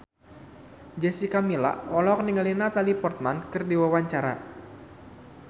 Jessica Milla olohok ningali Natalie Portman keur diwawancara